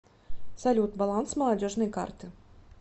салют баланс молодежной карты